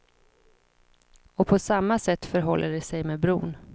Och på samma sätt förhåller det sig med bron.